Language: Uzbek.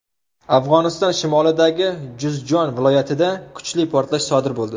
Afg‘oniston shimolidagi Juzjon viloyatida kuchli portlash sodir bo‘ldi.